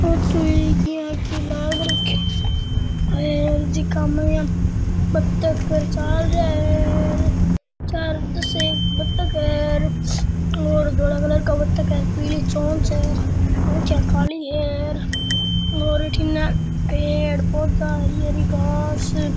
photo एक यहाँ के लग रखे है और झक मे बत्तख चल रेया है चार दस एक बत्तख है और धोला कलर का बत्तख है पीली चोंच है चोच काली है और अठीन पेड़ पौधा हरी हरी घांस --